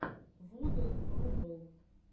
вуден рубл